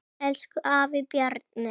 Elsku afi Bjarni.